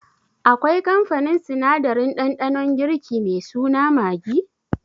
Akwai kamfanin sinadarin ɗanɗanon girki me suna Maggi?